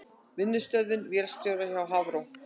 Vinnustöðvun vélstjóra hjá Hafró